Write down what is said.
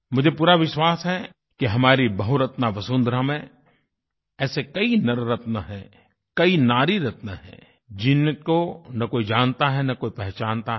मुझे पूरा विश्वास है कि हमारी बहुरत्नावसुंधरा में ऐसे कई नररत्न हैं कई नारीरत्न हैं जिनको न कोई जानता है न कोई पहचानता है